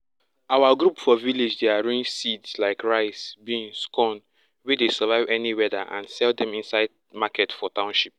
our group for village dey arrange seeds like rice beans corn wey dey survive any weather and sell dem inside market for township